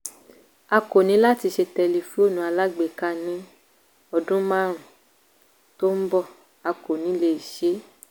a kò ní láti ṣe tẹlifóònù alágbèéká ní ọdún márùn-ún tó ń bọ̀ - a kò ní lè ṣe é.